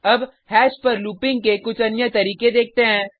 अब हैश पर लूपिंग के कुछ अन्य तरीके देखते हैं